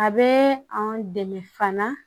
A bɛ an dɛmɛ fana